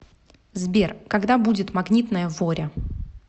сбер когда будет магнитная воря